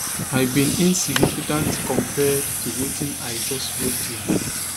i bin insignificant compared to wetin i just go through